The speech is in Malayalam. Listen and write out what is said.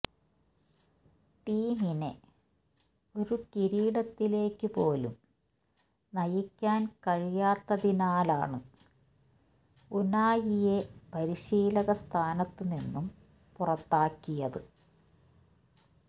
ടീമിനെ ഒരു കിരീടത്തിലേക്കുപോലും നയിക്കാൻ കഴിയാത്തതിനാലാണ് ഉനായിയെ പരിശീലക സ്ഥാനത്തു നിന്നും പുറത്താക്കിയത്